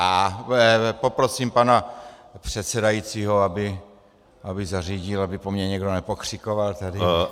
A poprosím pana předsedajícího, aby zařídil, aby po mně nikdo nepokřikoval tady.